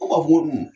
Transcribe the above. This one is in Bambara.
An b'a fɔ ko dun